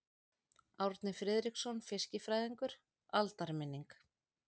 Árni Friðriksson fiskifræðingur: Aldarminning.